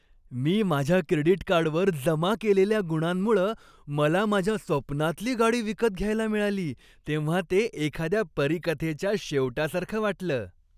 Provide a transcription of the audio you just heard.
मी माझ्या क्रेडिट कार्डवर जमा केलेल्या गुणांमुळं मला माझ्या स्वप्नांतली गाडी विकत घ्यायला मिळाली तेव्हा ते एखाद्या परीकथेच्या शेवटासारखं वाटलं.